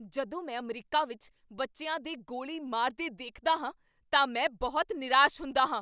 ਜਦੋਂ ਮੈਂ ਅਮਰੀਕਾ ਵਿੱਚ ਬੱਚਿਆਂ ਦੇ ਗੋਲੀ ਮਾਰਦੇ ਦੇਖਦਾ ਹਾਂ ਤਾਂ ਮੈਂ ਬਹੁਤ ਨਿਰਾਸ਼ ਹੁੰਦਾ ਹਾਂ।